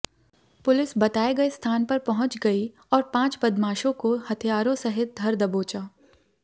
police बताए गए स्थान पर पहुंच गई और पांच बदमाशों को हथियारों सहित धर दबोचा